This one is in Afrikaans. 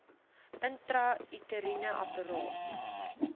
intrauteriene apparaat iua